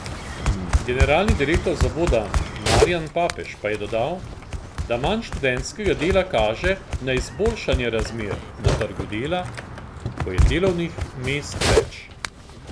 Generalni direktor zavoda Marijan Papež pa je dodal, da manj študentskega dela kaže na izboljšanje razmer na trgu dela, ko je delovnih mest več.